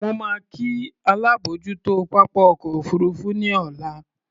Mo máa kí alábòójútó pápá ọkọ̀ òfuurufú ní ọ̀la.